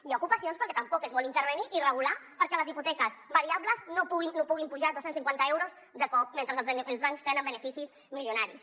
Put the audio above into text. hi ha ocupacions perquè tampoc és vol intervenir i regular perquè les hipoteques variables no puguin pujar dos cents i cinquanta euros de cop mentre els bancs tenen beneficis milionaris